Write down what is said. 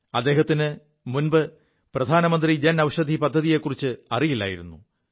അദ്ദേഹത്തിന് മുമ്പ് പ്രധാനമന്ത്രി ജൻ ഔഷധി പദ്ധതിയെക്കുറിച്ച് അറിയില്ലായിരുു